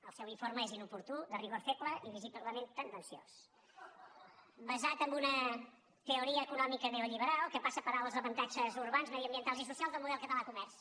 el seu informe és inoportú de rigor feble i visiblement tendenciós basat en una teoria econòmica neolliberal que passa per alt els avantatges urbans mediambientals i socials del model català de comerç